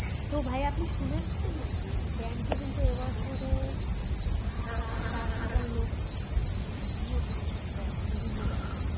তো ভাইয়া আপনি শুনেছেন নাকি ব্যাংকে কিন্তু এবছরে প্রায় চার হাজার লোক উম নিয়োগ দিবে ব্যাংক বিভিন্ন ব্যাংক